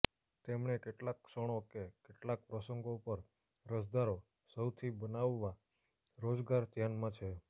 તેમણે કેટલાક ક્ષણો કે કેટલાક પ્રસંગો પર અરજદારો સૌથી બનાવવા રોજગાર ધ્યાનમાં છે